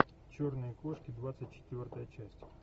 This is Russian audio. черные кошки двадцать четвертая часть